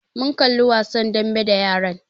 Mun kalli wasan dambe da yaran